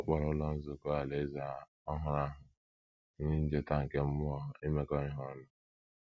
Ọ kpọrọ Ụlọ Nzukọ Alaeze ọhụrụ ahụ “ ihe ncheta nke mmụọ imekọ ihe ọnụ. ”